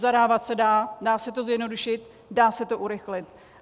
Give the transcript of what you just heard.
Zadávat se dá, dá se to zjednodušit, dá se to urychlit.